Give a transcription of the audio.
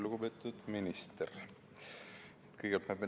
Lugupeetud minister!